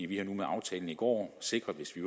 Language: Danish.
vi har nu med aftalen i går sikret hvis vi